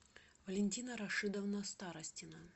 валентина рашидовна старостина